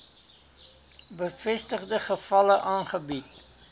bevestigde gevalle aangebied